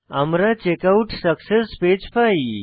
আমরা checkout success page পাই